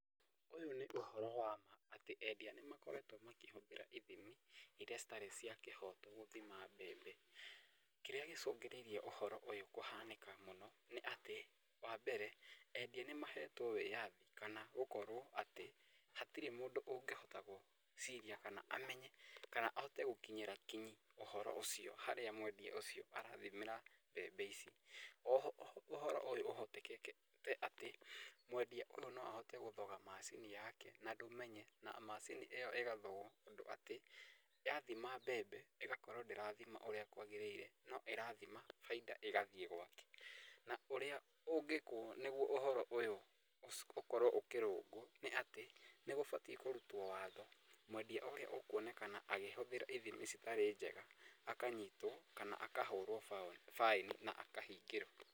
Ũyũ nĩ ũhoro wa ma atĩ endia nĩ makoretwo makĩhũthĩra ithimi irĩa citarĩ cia kĩhoto gũthima mbembe. Kĩrĩa gĩcũngĩrĩirie ũhoro ũyũ kũhanĩka mũno, nĩ atĩ wa mbere endia nĩ mahetwo wĩyathi kana gũkorwo atĩ hatirĩ mũndũ ũngĩhota gwĩciria kana amenye kana ahote gũkinyĩra kinyi ũhoro ũcio harĩa mwendia ũcio arathimĩra mbembe ici. Oho ũhoro ũhotekekete atĩ mwendia ũyũ no ahote gũthoga macini yake na ndũmenye na macini ĩyo ĩgathogwo ũndũ atĩ athima mbembe ĩgakorwo ndĩrathima ũrĩa kwagĩrĩire no ĩrathima bainda ĩgathiĩ gwake, na ũrĩa ũngĩkũo nĩguo ũhoro ũyũ ũkorwo ũkĩrũngwo, nĩ atĩ nĩ gũbatiĩ kũrutwo watho, mwendia ũrĩa ũkuonekana agĩhũthĩra ithimi citarĩ njega akanyitwo kana akahũrwo baĩni na akahingĩrwo.